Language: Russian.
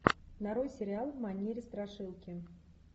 нарой сериал в манере страшилки